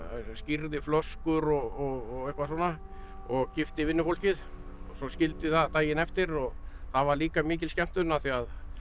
skírði flöskur og eitthvað svona og gifti vinnufólkið og svo skildi það daginn eftir og það var líka mikil skemmtun af því